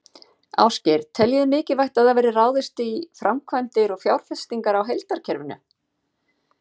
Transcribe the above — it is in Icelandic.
Ásgeir: Teljið þið mikilvægt að það verði ráðist í framkvæmdir og fjárfestingar á heildarkerfinu?